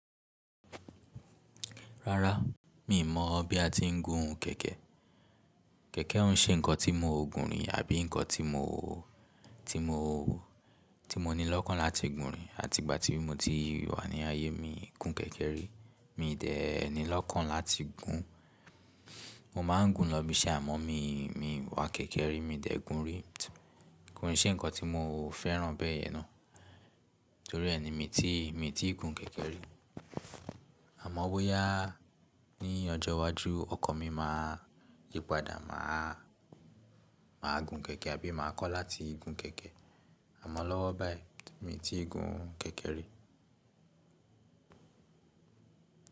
Rárá, mi mọ̀ bí a ti ń gun kẹkẹ. Kẹ̀kẹ́ ń ṣe nǹkan tí mo ò gùn rì àbí nǹkan tí mo, ti mo ní lọ́kàn láti gùn rì. Àti ìgbà tí mo ti wà ní ayé mi gún kẹ̀kẹ́ rí, mi dẹ́ẹ ni lọ́kàn láti gùn. Mo máa ń gùn lọ bí i ṣe àmọ́n mi, mi wá kẹ̀kẹ́ rí mi dẹ̀ gùn rí. Kò n ṣe nǹkan tí mo fẹ́ràn bẹ́ẹ̀ yẹn ná. Torí ẹni mi ti, mi ti gùn kẹ̀kẹ́ rí. Àmọ́ bóyá ní ọjọ́ iwájú ọkọ̀n mi máa yípadà, màá gùn kẹ̀kẹ́ àbí máa kọ́ láti gùn kẹ̀kẹ́. Àmọ́n lọ́wọ́ báyìí mi ò tí gùn kẹ̀kẹ́ rí.